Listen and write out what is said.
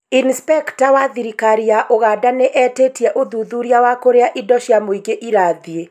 inspecta wa thirikari ya Ũganda nĩ etĩtie ũthuthuria wa kũrĩa indo cia mũingĩ irathiĩ